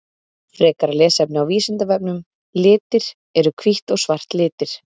Frekara lesefni á Vísindavefnum Litir Eru hvítt og svart litir?